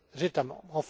les autres États